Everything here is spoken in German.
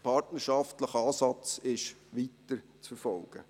Der partnerschaftliche Ansatz ist weiterzuverfolgen.